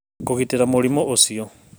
Kũgitĩra mũrimũ ũcio